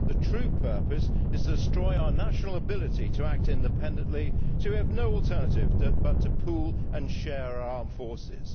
The true purpose is to destroy our national ability to act independently so we have no alternative but to pool and share our armed forces.